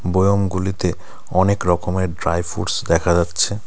বয়াম গুলিতে অনেক রকমের ড্রাই ফ্রুটস দেখা যাচ্ছে.